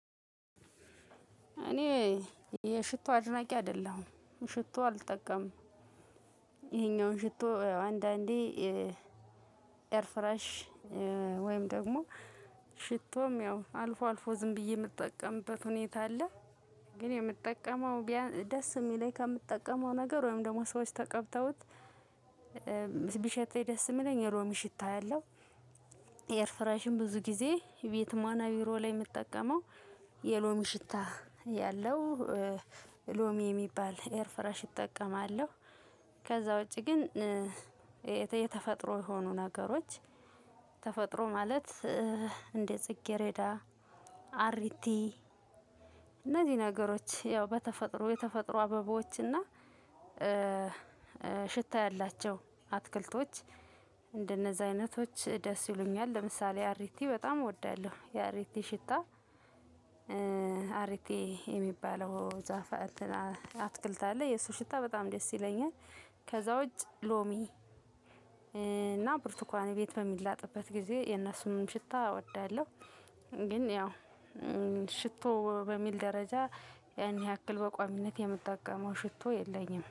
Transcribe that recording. እኔ የሽቶ አድናቂ አይደለሁም ሽቶ አልጠቀምም። ይሄኛውን ሽቶ አንዳንዴ ኤር ፍረሽ ወይም ደሞ ሽቶም ያው አልፎ አልፎ ዝም ብዬ ምጠቀምበት ሁኔታ አለ። ግን የምጠቀመው ደስ ሚለኝ ከምትጠቀመው ነገር ወይም ደሞ ሰዎች ተቀብተውት ቢሸተኝ ደስ ሚለኝ የሎሚ ሽታ ያለው። ኤርፍሬሽም ብዙ ጊዜ ቤትም ሆነ ቢሮ ላይ ምጠቀመው የሎሚ ሽታ ያለው ሎሚ የሚባል ኤር ፍረሽ እጠቀማለሁ። ከዛ ውጪ ግን። የተፈጥሮ የሆኑ ነገሮች ተፈጥሮ ማለት እንደ ጽጌረዳ አሪቲ እነዚህ ነገሮች ያው በተፈጥሮ የተፈጥሮ አበባዎችና ሽታ ያላቸው አትክልቶች እንደነዛ አይነቶች ደስ ይሉኛል ለምሳሌ አሪቲ በጣም እወዳለሁ የአሪቲ ሽታ። አሪቲ የሚባለው ዛፍ አትክልት አለ የሱ ሽታ በጣም ደስ ይለኛል። ከዛ ውጭ ሎሚ እና ብርቱካን ቤት በሚላጥበት ጊዜ የነሱንም ሽታ እወዳለሁ። ግን ያው ሽቶ በሚል ደረጃ እኔ ያክል በቋሚነት የምጠቀመው ሽቶ የለኝም